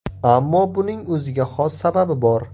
Ammo buning o‘ziga xos sababi bor.